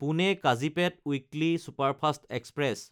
পুনে–কাজিপেট weekly superfast express